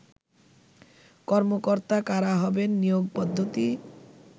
কর্মকর্তা কারা হবেন, নিয়োগ পদ্ধতি